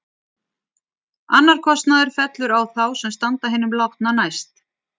Annar kostnaður fellur á þá sem standa hinum látna næst.